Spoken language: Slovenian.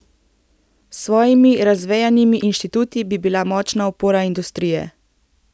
S svojimi razvejenimi inštituti bi bila močna opora industrije.